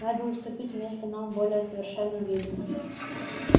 надо уступить место новым более совершенным видам